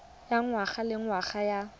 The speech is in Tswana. ya ngwaga le ngwaga ya